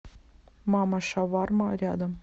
мама шаварма рядом